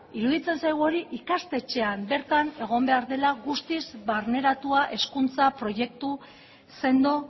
iruditzen zaigu hori ikastetxean bertan egon behar dela guztiz barneratua hezkuntza proiektu sendo